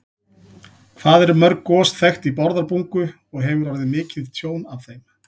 Hvað eru mörg gos þekkt í Bárðarbungu og hefur orðið mikið tjón af þeim?